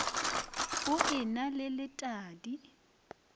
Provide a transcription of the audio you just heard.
o e na le letadi